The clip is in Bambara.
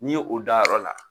Ni ye o dayɔrɔ la.